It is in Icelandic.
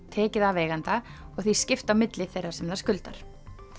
tekið af eiganda og því skipt á milli þeirra sem það skuldar